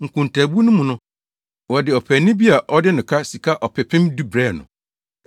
Nkontaabu no mu no, wɔde ɔpaani bi a ɔde no ka sika ɔpepem du brɛɛ no.